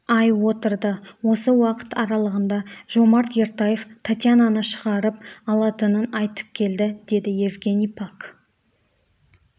ай отырды осы уақыт аралығында жомарт ертаев татьянаны шығарып алатынын айтып келді деді евгений пак